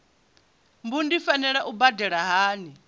mbu ndi fanela u badela hani